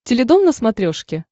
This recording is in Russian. теледом на смотрешке